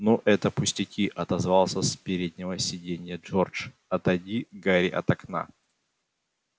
ну это пустяки отозвался с переднего сиденья джордж отойди гарри от окна